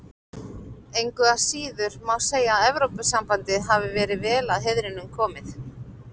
Engu að síður má segja að Evrópusambandið hafi verið vel að heiðrinum komið.